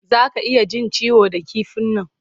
Za ka iya jin ciwo da kifin nan.